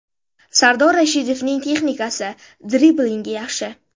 Sardor Rashidovning texnikasi, driblinggi yaxshi.